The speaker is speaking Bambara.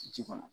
Ji kɔnɔ